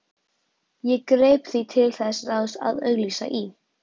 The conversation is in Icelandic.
Ég greip því til þess ráðs að auglýsa í